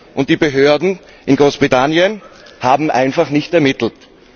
Und die Behörden in Großbritannien haben einfach nicht ermittelt.